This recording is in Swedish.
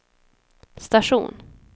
station